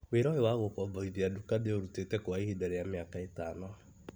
Wĩra ũyũ wa gũkomborithia duka ndĩũrutĩte kwa ihinda rĩa mĩaka ĩtano.